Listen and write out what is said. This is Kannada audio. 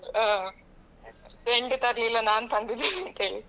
ಆ friend ತರ್ಲಿಲ್ಲ ನಾನು ತಂದಿದ್ದೇನೆ ಅಂತ ಹೇಳಿ.